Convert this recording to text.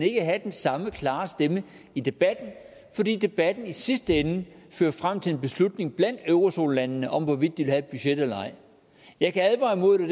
have den samme klare stemme i debatten fordi debatten i sidste ende fører frem til en beslutning blandt eurozonelandene om hvorvidt de vil have et budget eller ej jeg kan advare imod det